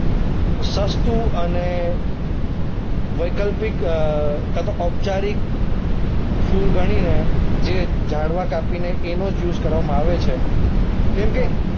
સસ્તું અને વૈકલ્પિક અ કાંતો ઔપચારિક ફ્યૂલ ગણીને જે ઝાડવા કાપીને એનો જ યુઝ કરવામાં આવે છે. કેમકે